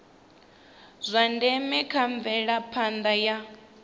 zwa ndeme kha mvelaphanda ya